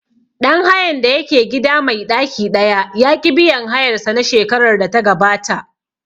Ɗan hayan da yake gida mai ɗaki ɗaya ya ƙi biyan hayar sa na shekarar da ta gabata